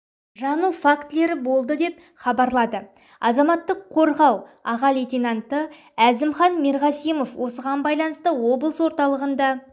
жану фактілері болды деп хабарлады азаматтық қорғау аға лейтенанты әзімхан мерғасимов осыған байланысты облыс орталығында